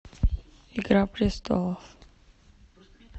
игра престолов